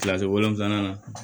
Kilasi wolonwula na